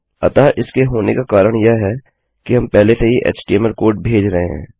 अतः इसके होने का कारण यह है कि हम पहले से ही एचटीएमएल कोड भेज रहे हैं